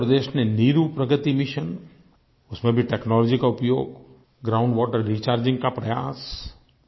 आन्ध्र प्रदेश ने नीरू प्रगति मिशन उसमें भी टेक्नोलॉजी का उपयोग ग्राउंड वाटर रिचार्जिंग का प्रयास